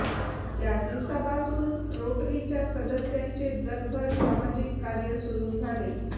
त्या दिवसापासून रोटरीच्या सदस्यांचे जगभर सामाजिक कार्य सुरू झाले